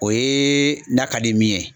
O ye n'a ka di min ye.